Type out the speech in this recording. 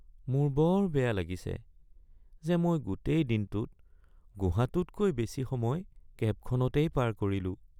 মোৰ বৰ বেয়া লাগিছে যে মই গোটেই দিনটোত গুহাটোতকৈ বেছি সময় কেবখনতেই পাৰ কৰিলোঁ।